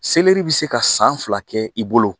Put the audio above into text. Seleri bɛ se ka san fila kɛ i bolo